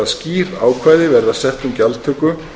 að skýr ákvæði verða sett um gjaldtöku